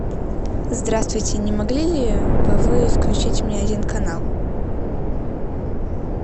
здравствуйте не могли ли бы вы включить мне один канал